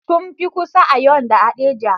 Sun fi kusa, Auyo da Haɗeja